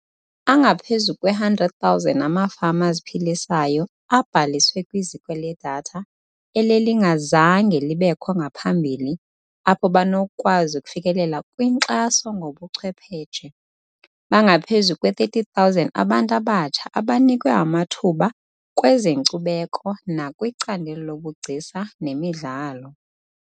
Angaphezu kwe-100 000 amafama aziphilisayo abhaliswe kwiziko ledatha elelingazange libekho ngaphambili apho banokukwazi ukufikelela kwinkxaso ngobuchwephetshe. Bangaphezu kwe-30 000 abantu abatsha abanikwe amathuba kwezenkcubeko nakwicandelo lobugcisa nemidlalo.